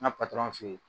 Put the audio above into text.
N ka f'i ye